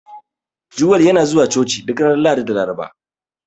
Joel yana zuwa Coci duk ranar Lahadi da Laraba.